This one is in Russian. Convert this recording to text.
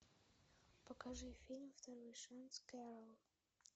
покажи фильм второй шанс кэрол